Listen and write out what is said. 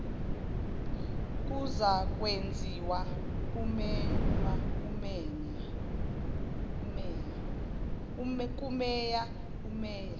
kuzakwenziwa kumeya umeya